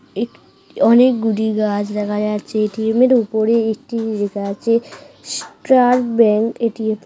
এক অনেকগুলি গাছ দেখা যাচ্ছে .টি.এম. এর উপরে একটি লেখা আছে স্টার্ট ব্যাংক এটি--